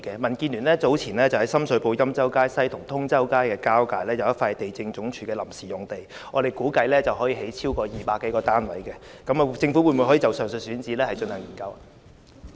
民建聯早前在深水埗欽州街西和通州街交界發現一幅地政總署的臨時用地，我們估計可以興建200多個單位，政府可否就上述選址進行研究？